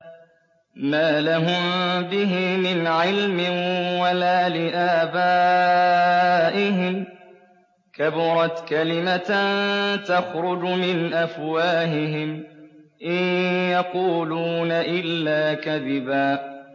مَّا لَهُم بِهِ مِنْ عِلْمٍ وَلَا لِآبَائِهِمْ ۚ كَبُرَتْ كَلِمَةً تَخْرُجُ مِنْ أَفْوَاهِهِمْ ۚ إِن يَقُولُونَ إِلَّا كَذِبًا